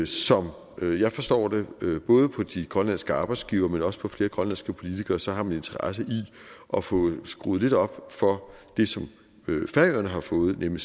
som jeg forstår det både på de grønlandske arbejdsgivere men også på flere grønlandske politikere så har man en interesse i at få skruet lidt op for det som færingerne har fået nemlig